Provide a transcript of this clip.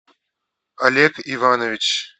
олег иванович